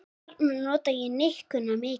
Þar nota ég nikkuna mikið.